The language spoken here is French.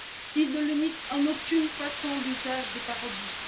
il ne limite en aucune façon l'usage des parodies